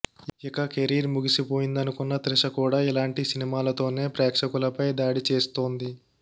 ఇక కెరీర్ ముగిసిపోయిందనుకున్న త్రిష కూడా ఇలాంటి సినిమాలతోనే ప్రేక్షకులపై దాడి చేస్తోంది